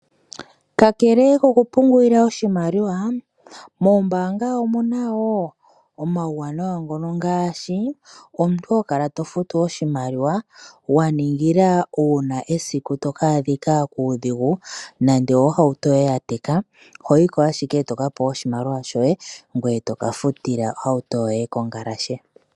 Kakele kokupungulila oshimaliwa mombanga omu na wo omauwanawa ngono ngaashi omuntu ho kala to futu oshimaliwa wa ningila uuna esiku to kaadhika kuudhigu nenge ohauto yoye ya teka oho yiko ashike e to ka pewa oshimaliwa shoye ngoye toka futila ohauto yoye kongalashe.